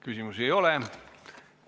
Küsimusi ei ole.